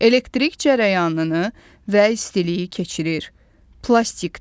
Elektrik cərəyanını və istiliyi keçirir, plastikdir.